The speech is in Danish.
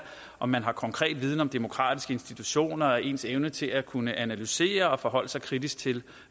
om man har konkret viden om demokratiske institutioner og ens evne til at kunne analysere og forholde sig kritisk til